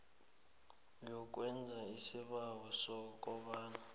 yokwenza isibawo sekomba